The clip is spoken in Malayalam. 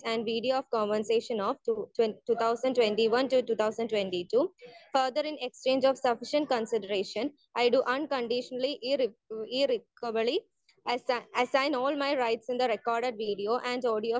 Speaker 1 and video conversation of two thousand twenty one to two thousand twenty two. Further, in exchange of sufficient consideration, I do unconditionally ir irrevocably assign all my rights in the record video and audio of